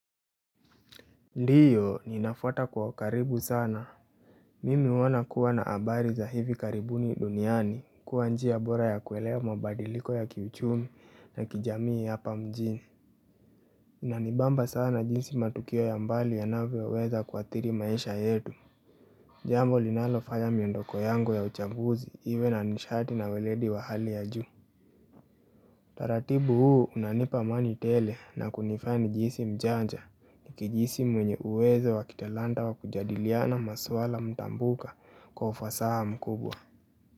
Ndiyo ninafuata kwa ukaribu sana. Mimi huona kuwa na habari za hivi karibuni duniani kuwa njia bora ya kuelewa mabadiliko ya kiuchumi na kijamii hapa mjini. Inanibamba sana jinsi matukio ya mbali yanavyoweza kuathiri maisha yetu. Jambo linalofanya miondoko yangu ya uchambuzi, iwe na nishati na ueledi wa hali ya juu. Taratibu huu unanipa amani tele na kunifanya nijihisi mjanja nikijihisi mwenye uwezo wa kitalanta wa kujadiliana maswala mtambuka kwa ufasaha mkubwa.